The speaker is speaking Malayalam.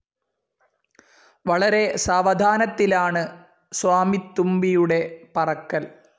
വളരെ സാവധാനത്തിലാണ് സ്വാമിത്തുമ്പിയുടെ പറക്കൽ.